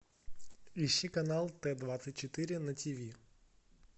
ищи канал т двадцать четыре на тиви